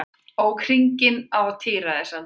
Ók hringinn á tíræðisaldri